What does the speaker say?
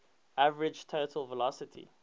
average total velocity